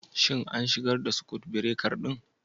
Shin an shigar da sakut birekar ɗin?